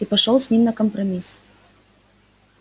ты пошёл с ними на компромисс